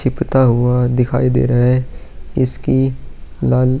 चिपता हुआ दिखाई दे रहा है इसकी लाल --